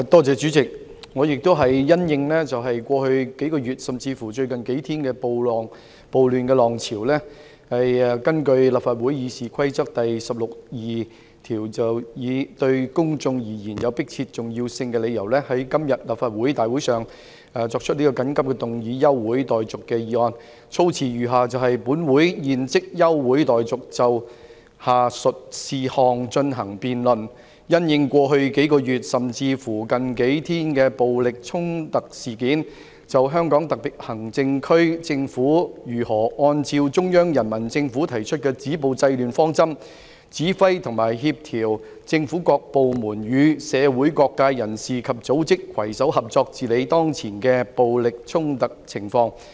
主席，我也是因應過去數月，甚至乎最近數天的暴亂浪潮，根據立法會《議事規則》第162條，以對公眾而言有迫切重要性為理由，在今天立法會大會上提出此項休會待續議案，措辭如下：本會現即休會待續，以就下述事項進行辯論："因應過去數月，甚至乎近數天的暴力衝突事件，就香港特別行政區政府如何按照中央人民政府提出的止暴制亂方針，指揮及協調政府各部門與社會各界人士及組織，攜手合作治理當前的暴力衝突情況。